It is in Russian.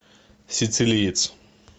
сицилиец